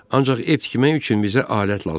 Ancaq ev tikmək üçün bizə alət lazımdır.